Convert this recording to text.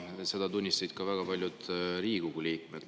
Seda tunnistasid ka väga paljud Riigikogu liikmed.